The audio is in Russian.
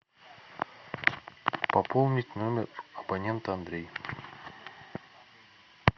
пополнить номер абонента андрей